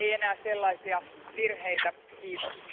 Ei enää sellaisia virheitä, kiitos.